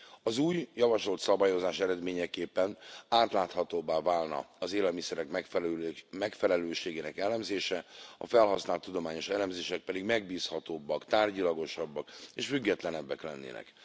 Az új javasolt szabályozás eredményeképpen átláthatóbbá válna az élelmiszerek megfelelőségének elemzése, a felhasznált tudományos elemzések pedig megbízhatóbbak, tárgyilagosabbak és függetlenebbek lennének.